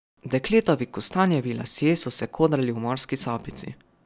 Dekletovi kostanjevi lasje so se kodrali v morski sapici.